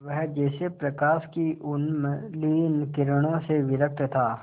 वह जैसे प्रकाश की उन्मलिन किरणों से विरक्त था